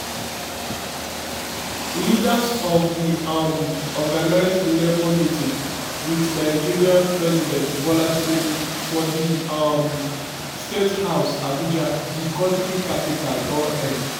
leaders of the um organised labor meeting with nigerian president bola tinubu for the um state house abuja the country capital don end.